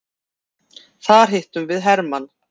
Þar hittum við hermann.